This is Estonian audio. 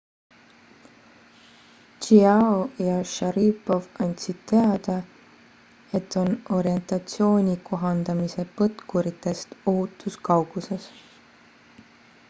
chiao ja sharipov andsid teada et on orientatsiooni kohandamise põtkuritest ohutus kauguses